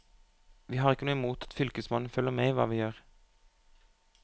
Vi har ikke noe imot at fylkesmannen følger med i hva vi gjør.